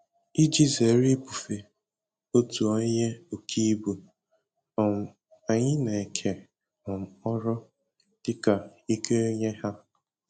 Iji zere ibufe otu onye oke ibu, um anyị na-eke um ọrụ dịka ike onye ha